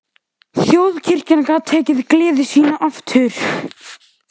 Þjóðkirkjan gat tekið gleði sína aftur.